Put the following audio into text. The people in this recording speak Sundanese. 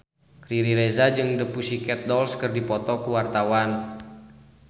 Riri Reza jeung The Pussycat Dolls keur dipoto ku wartawan